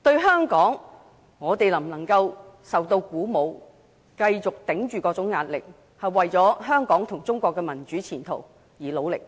香港能否受到鼓舞，繼續忍受各種壓力，為香港及中國的民主前途而努力？